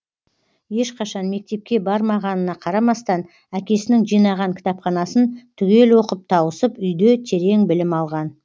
ешқашан мектепке бармағанына қарамастан әкесінің жинаған кітапханасын түгел оқып тауысып үйде терең білім алған